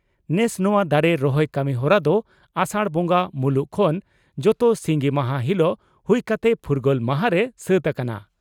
ᱱᱮᱥ ᱱᱚᱣᱟ ᱫᱟᱨᱮ ᱨᱚᱦᱚᱭ ᱠᱟᱹᱢᱤᱦᱚᱨᱟ ᱫᱚ ᱟᱥᱟᱲ ᱵᱚᱸᱜᱟ ᱢᱩᱞᱩᱜ ᱠᱷᱚᱱ ᱡᱚᱛᱚ ᱥᱤᱸᱜᱤ ᱢᱟᱦᱟ ᱦᱤᱞᱚᱜ ᱦᱩᱭ ᱠᱟᱛᱮ ᱯᱷᱩᱨᱜᱟᱹᱞ ᱢᱟᱦᱟᱸᱨᱮ ᱥᱟᱹᱛ ᱟᱠᱟᱱᱟ ᱾